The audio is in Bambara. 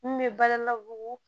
Mun bɛ bala bugu